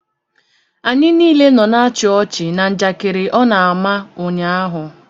Anyị niile nọ na-achi ọchi na njakịrị ọ na-ama ụnyaahụ.